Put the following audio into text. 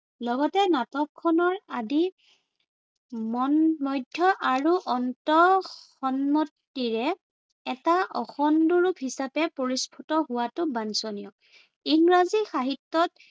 লগতে নাটকখনৰ আদি মধ্য় আৰু অন্ত সন্মতিৰে এটা অখণ্ড ৰূপ হিচাপে পৰিস্ফুট হোৱাটো বাঞ্চনীয়। ইংৰাজী সাহিত্য়ত